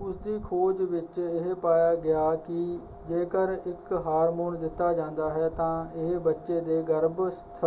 ਉਸਦੀ ਖੋਜ ਵਿੱਚ ਇਹ ਪਾਇਆ ਗਿਆ ਕਿ ਜੇਕਰ ਇੱਕ ਹਾਰਮੋਨ ਦਿੱਤਾ ਜਾਂਦਾ ਹੈ ਤਾਂ ਇਹ ਬੱਚੇ ਦੇ ਗਰੱਭਸਥ